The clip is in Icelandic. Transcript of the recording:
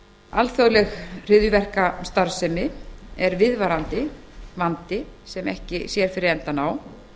alþjóðleg hryðjuverkastarfsemi er viðvarandi vandi sem ekki sér fyrir endann á